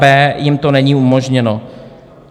b) jim to není umožněno.